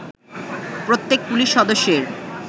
প্রত্যেক পুলিশ সদস্যের